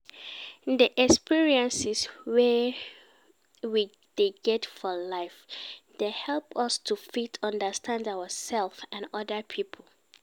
Di experiences wey we dey get for life dey help us to fit understand ourself and oda pipo